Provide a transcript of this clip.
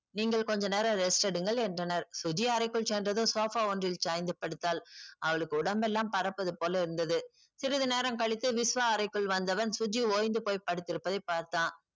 நீங்கள் கொஞ்ச நேரம் rest எடுங்கள் என்றனர் சுஜி அறைக்குள் சென்றதும் sofa ஒன்றில் சாய்ந்து படுத்தால் அவளுக்கு உடம்பெல்லாம் பறப்பதுபோல இருந்தது சிறிது நேரம் கழித்து விஷ்வா அறைக்குள் வந்தவன் சுஜி ஓய்ந்து போய் படுத்திருப்பதை பார்த்தான்